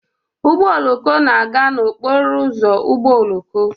Ụgbọ oloko na-aga n'okporo ụzọ ụgbọ oloko.